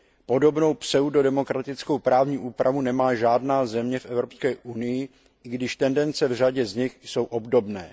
Podobnou pseudodemokratickou právní úpravu nemá žádná země v Evropské unii, i když tendence v řadě z nich jsou obdobné.